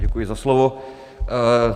Děkuji za slovo.